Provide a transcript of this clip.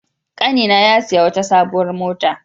Ƙanina ya sayi wata sabuwar mota.